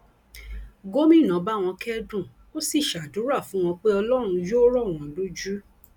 gomina bá wọn kẹdùn ó sì ṣàdúrà fún wọn pé ọlọrun yóò rọ wọn lójú